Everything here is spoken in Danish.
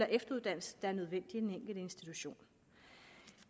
efteruddannelse der er nødvendige i den enkelte institution